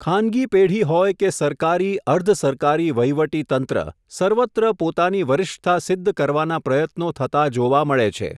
ખાનગી પેઢી હોય કે સરકારી અર્ધ સરકારી વહીવટીતંત્ર સર્વત્ર પોતાની વરિષ્ઠતા સિઘ્ધ કરવાના પ્રયત્નો થતા જોવા મળે છે.